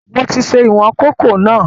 Mo ti ṣe ìwọn kòkó náà